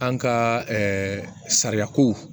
An ka sariya ko